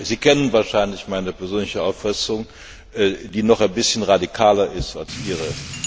Sie kennen wahrscheinlich meine persönliche Auffassung, die noch ein bisschen radikaler ist als Ihre.